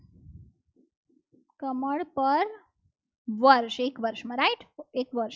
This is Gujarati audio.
કમળ પર વર્ષ એક વર્ષમાં right એક વર્ષ